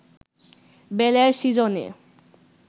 বেলের সিজনে